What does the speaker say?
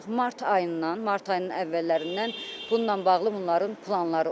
Artıq mart ayından, mart ayının əvvəllərindən bununla bağlı bunların planları olub.